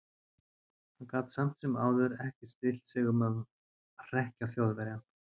Hann gat samt sem áður ekki stillt sig um að hrekkja Þjóðverjann.